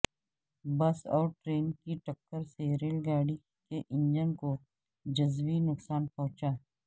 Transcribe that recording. بس اور ٹرین کی ٹکر سے ریل گاڑی کے انجن کو جزوی نقصان پہنچا